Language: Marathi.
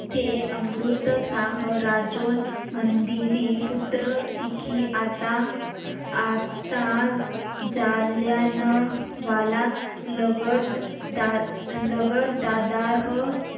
ते अमृतसाह राजुन मंदिरी पुत्रसिकी आता आता जालियान वाला लगड दा लगड दादा ह